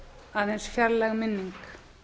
aðeins fjarlæg minning